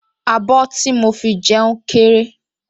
Abọ́ tí mo fi jẹun kéré